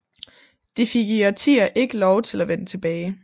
De fik i årtier ikke lov til at vende tilbage